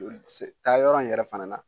Taayɔrɔ in yɛrɛ fana na